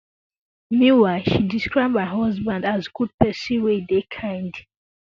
meanwhile she describe her husband as good pesin wey dey kind